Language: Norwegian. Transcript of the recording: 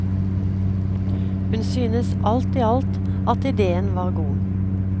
Hun synes alt i alt at idéen var god.